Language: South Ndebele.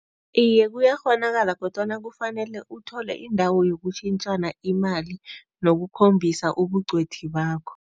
Iye, kuyakghonakala kodwana kufanele uthole indawo yokushintshana imali nokukhombisa ubuncwedi bakho.